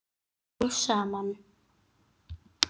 Formið kemur svo smám saman.